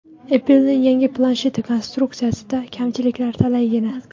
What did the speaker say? Apple’ning yangi plansheti konstruksiyasida kamchiliklar talaygina.